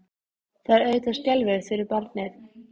Það er auðvitað skelfilegt fyrir barnið.